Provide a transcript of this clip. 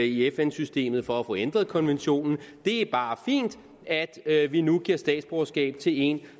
i fn systemet for at få ændret konventionen det er bare fint at at vi nu giver statsborgerskab til en